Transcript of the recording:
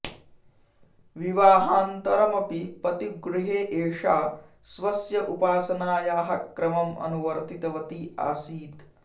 विवाहानन्तरमपि पतिगृहे एषा स्वस्य उपासनायाः क्रमम् अनुवर्तितवती आसीत्